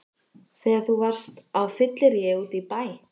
Þegar þú varst á fylliríi úti í bæ!